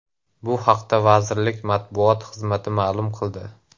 Bu haqda vazirlik matbuot xizmati ma’lum qildi .